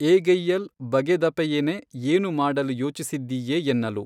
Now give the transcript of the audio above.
ಏಗೆಯ್ಯಲ್ ಬಗೆದಪೆಯೆನೆ ಏನು ಮಾಡಲು ಯೋಚಿಸಿದ್ದೀಯೆ ಎನ್ನಲು